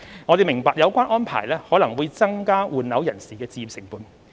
政府明白有關安排可能會增加換樓人士的置業成本。